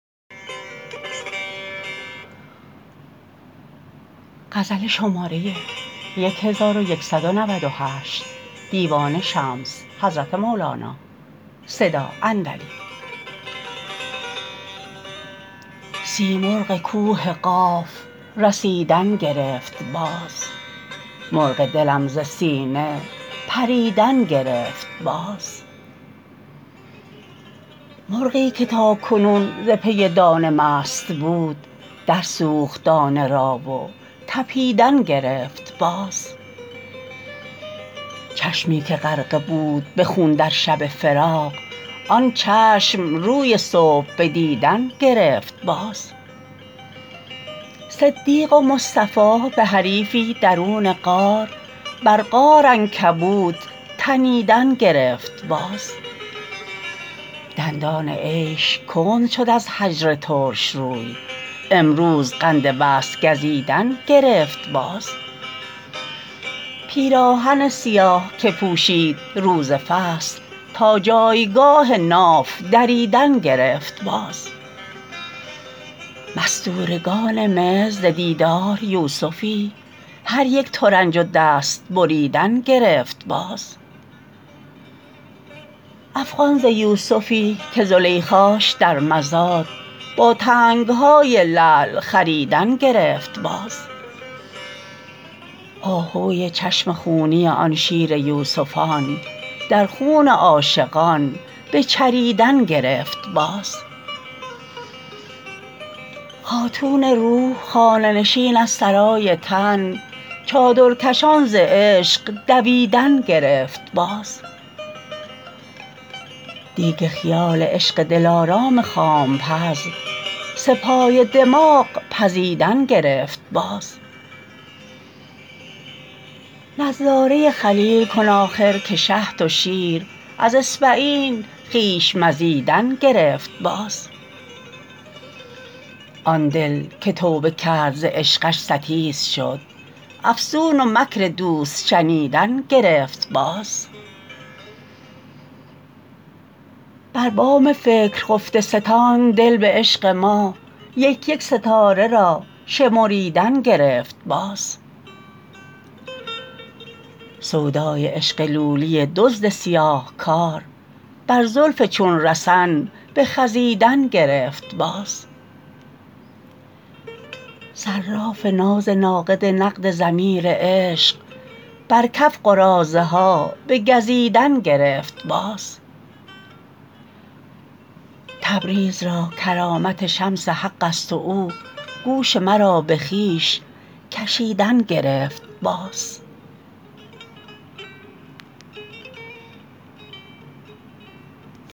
سیمرغ کوه قاف رسیدن گرفت باز مرغ دلم ز سینه پریدن گرفت باز مرغی که تا کنون ز پی دانه مست بود درسوخت دانه را و طپیدن گرفت باز چشمی که غرقه بود به خون در شب فراق آن چشم روی صبح به دیدن گرفت باز صدیق و مصطفی به حریفی درون غار بر غار عنکبوت تنیدن گرفت باز دندان عیش کند شد از هجر ترش روی امروز قند وصل گزیدن گرفت باز پیراهن سیاه که پوشید روز فصل تا جایگاه ناف دریدن گرفت باز مستورگان مصر ز دیدار یوسفی هر یک ترنج و دست بریدن گرفت باز افغان ز یوسفی که زلیخاش در مزاد با تنگ های لعل خریدن گرفت باز آهوی چشم خونی آن شیر یوسفان در خون عاشقان بچریدن گرفت باز خاتون روح خانه نشین از سرای تن چادرکشان ز عشق دویدن گرفت باز دیگ خیال عشق دلارام خام پز سه پایه دماغ پزیدن گرفت باز نظاره خلیل کن آخر که شهد و شیر از اصبعین خویش مزیدن گرفت باز آن دل که توبه کرد ز عشقش ستیز شد افسون و مکر دوست شنیدن گرفت باز بر بام فکر خفته ستان دل به عشق ما یک یک ستاره را شمریدن گرفت باز سودای عشق لولی دزد سیاه کار بر زلف چون رسن بخزیدن گرفت باز صراف ناز ناقد نقد ضمیر عشق بر کف قراضه ها بگزیدن گرفت باز تبریز را کرامت شمس حقست و او گوش مرا به خویش کشیدن گرفت باز